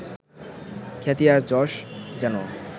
খ্যাতি আর যশ যেন